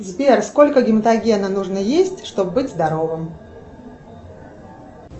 сбер сколько гематогена нужно есть чтобы быть здоровым